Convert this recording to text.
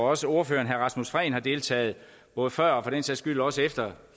også ordføreren herre rasmus prehn har deltaget både før og for den sags skyld også efter